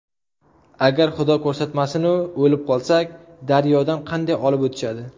Agar xudo ko‘rsatmasinu o‘lib qolsak, daryodan qanday olib o‘tishadi.